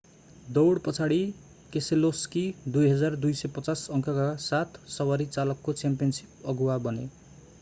दौड पछाडि केसेलोस्की 2,250 अङ्कका साथ सवारी चालकको च्याम्पियनशिप अगुवा बने